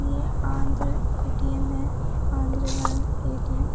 ये आंध्र एटीएम है Andhra bank ATM.